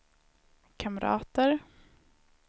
kamrater